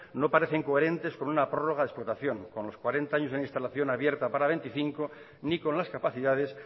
no parece coherentes con una prorroga explotación con los cuarenta en instalación abierta para veinticinco ni con las capacidades